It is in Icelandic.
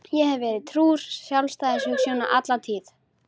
Ég hef verið trúr sjálfstæðishugsjóninni alla tíð.